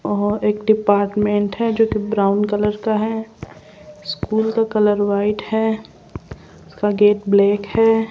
और एक डिपार्टमेंट है जो कि ब्राउन कलर का है स्कूल का कलर व्हाइट है उसका गेट ब्लैक है।